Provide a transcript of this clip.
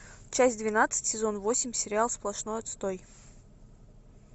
часть двенадцать сезон восемь сериал сплошной отстой